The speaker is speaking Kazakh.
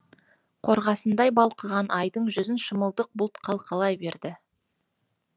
қорғасындай балқыған айдың жүзін шымылдық бұлт қалқалай берді